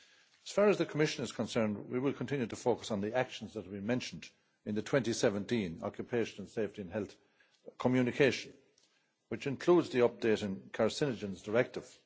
As far as the Commission is concerned, we will continue to focus on the actions that we mentioned in the 2017 Occupational Safety and Health Communication, which includes the updated carcinogens directive.